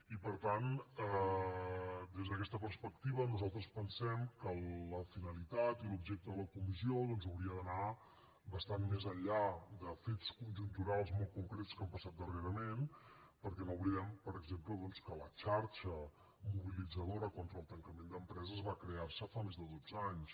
i per tant des d’aquesta perspectiva nosaltres pensem que la finalitat i l’objecte de la comissió doncs haurien d’anar bastant més enllà de fets conjunturals molt concrets que han passat darrerament perquè no oblidem per exemple que la xarxa mobilitzadora contra el tancament d’empreses va crear se fa més de dotze anys